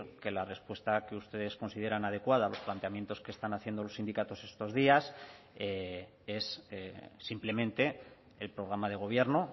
que la respuesta que ustedes consideran adecuada a los planteamientos que están haciendo los sindicatos estos días es simplemente el programa de gobierno